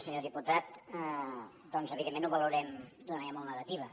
senyor diputat doncs evidentment ho valorem d’una manera molt negativa